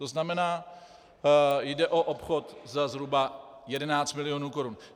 To znamená, jde o obchod za zhruba 11 milionů korun.